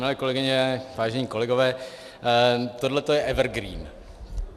Milé kolegyně, vážení kolegové, tohleto je evergreen.